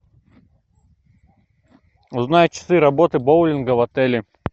узнай часы работы боулинга в отеле